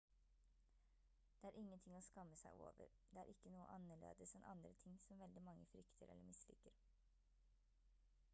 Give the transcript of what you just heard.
det er ingenting å skamme seg over det er ikke noe annerledes enn andre ting som veldig mange frykter eller misliker